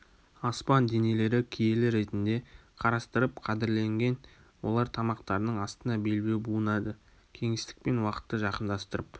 аспан денелері киелі ретінде қарастырып қадірленген олар тамақтарының астына белбеу буынады кеңістік пен уақытты жакындастырып